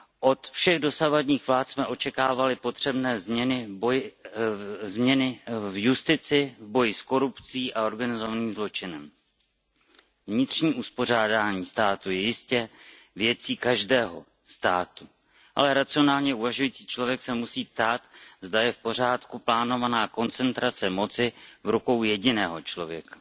Od všech dosavadních vlád jsme očekávali potřebné změny v justici, boji s korupcí a organizovaným zločinem. Vnitřní uspořádání státu je jistě věcí každého státu, ale racionálně uvažující člověk se musí ptát, zda je v pořádku plánovaná koncentrace moci v rukou jediného člověka.